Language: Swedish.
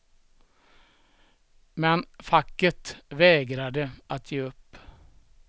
Men facket vägrade att ge upp.